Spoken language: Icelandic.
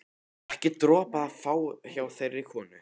Ekki dropa að fá hjá þeirri konu.